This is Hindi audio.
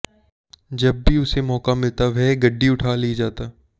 जब भी उसे मौका मिलता वह गड्डी उठा ले जाता